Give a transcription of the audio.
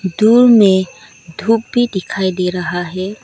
दूर में धूप भी दिखाई दे रहा है।